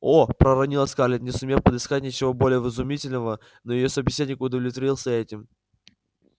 о проронила скарлетт не сумев подыскать ничего более вразумительного но её собеседник удовлетворился и этим